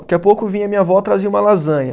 Daqui a pouco vinha minha avó e trazia uma lasanha.